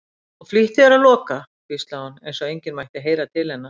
Og flýttu þér að loka, hvíslaði hún, eins og enginn mætti heyra til hennar.